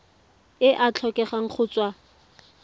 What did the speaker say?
e a tlhokega go tswa